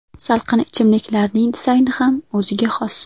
Salqin ichimliklarning dizayni ham o‘ziga xos.